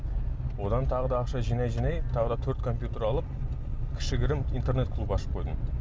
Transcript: одан тағы да ақша жинай жинай тағы да төрт компьютер алып кішігірім интернет клуб ашып қойдым